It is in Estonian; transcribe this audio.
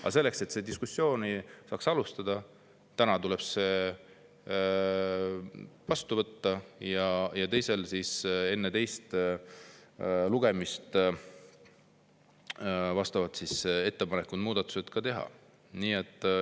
Aga selleks, et seda diskussiooni saaks alustada, tuleb see täna vastu võtta ja enne teist lugemist vastavad muudatused teha.